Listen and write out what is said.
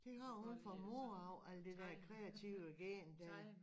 Det har hun fra mor af alt det der kreative gen dér